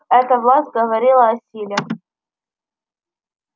эта власть говорила о силе